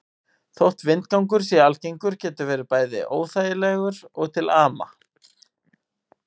Þótt vindgangur sé algengur getur hann verið bæði óþægilegur og til ama.